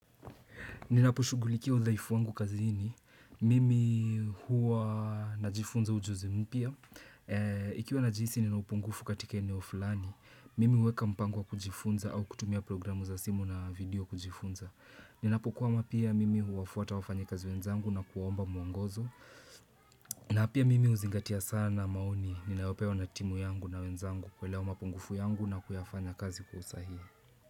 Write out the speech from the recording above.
Ninaposhugulikia udhaifu wangu kazini. Mimi huwa najifunza ujuzi mpya. Ikiwa najihisi ninaupungufu katika eneo fulani. Mimi uweka mpango wa kujifunza au kutumia programu za simu na video kujifunza. Ninapokwama pia mimi huwafuata wafanyakazi wenzangu na kuwaomba muongozo. Na pia mimi huzingatia sana maoni. Ninaopewa na timu yangu na wenzangu kuelewa mapungufu yangu na kuyafanya kazi kwa usahihi.